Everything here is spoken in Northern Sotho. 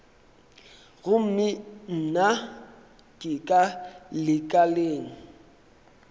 gomme nna ke ka lekaleng